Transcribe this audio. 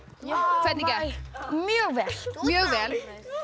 hvernig gekk mjög vel mjög vel